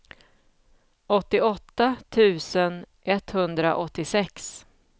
åttioåtta tusen etthundraåttiosex